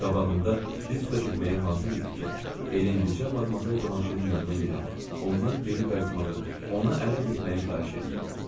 Qabağımda diz üstə çökməyə hazır idi ki, Erlendicə Madmazel Blanşenin yanına gedim, ondan geri qayıtmağı, ona ərə getməyi xahiş eləyim.